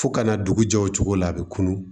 Fo kana dugu jɛ o cogo la a bɛ kunun